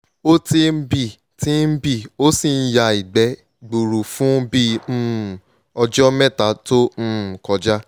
o ti ń bì ti ń bì ó sì ń ya ìgbẹ́ gbuuru fún bíi um ọjọ mẹ́ta to um kọja